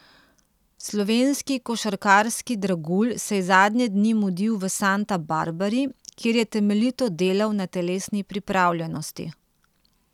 Slovenski košarkarski dragulj se je zadnje dni mudil v Santa Barbari, kjer je temeljito delal na telesni pripravljenosti.